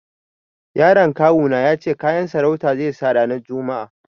Yaron kawu na ya ce kayan sarauta zai sa ranar juma'a.